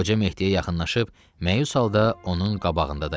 Qoca Mehdiyə yaxınlaşıb məyus halda onun qabağında dayandı.